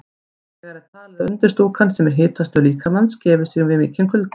Annars vegar er talið að undirstúkan, sem er hitastöð líkamans, gefi sig við mikinn kulda.